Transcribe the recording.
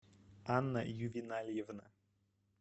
анна ювенальевна